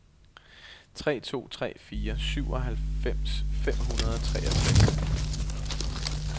tre to tre fire syvoghalvfems fem hundrede og treogtres